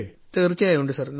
തീർച്ചയായും ഉണ്ട് സാർ